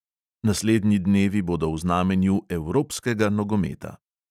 Naslednji dnevi bodo v znamenju evropskega nogometa.